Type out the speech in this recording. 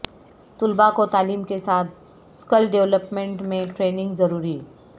طلبہ کو تعلیم کے ساتھ اسکل ڈیولپمنٹ میں ٹریننگ ضروری